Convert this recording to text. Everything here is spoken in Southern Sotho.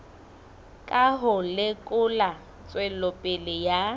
ka ho lekola tswelopele ya